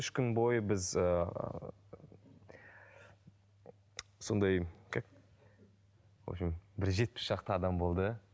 үш күн бойы біз ыыы сондай как в общем бір жетпіс шақты адам болды